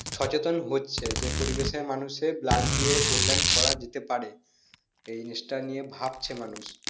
সচেতন হচ্ছে যে পরিবেশ এর মানুষ এর blood দিয়ে কল্যাণ করা যেতে পারে এই জিনিষটা নিয়ে ভাবছে মানুষ